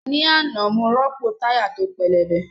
Ní àná, mo rọ́pò táyà tó pẹlẹbẹ